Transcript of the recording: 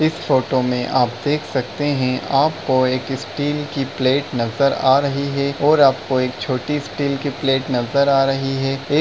इस फोटो में आप देख सकते हैं आपको एक स्टील की प्लेट नजर आ रही है और आपको एक छोटी स्टील की प्लेट नजर आ रही है एक --